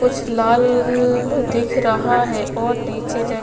कुछ लाल लल दिख रहा है और नीचे ज --